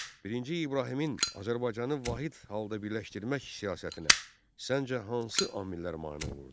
Birinci İbrahimin Azərbaycanı vahid halda birləşdirmək siyasətinə, səncə, hansı amillər mane olurdu?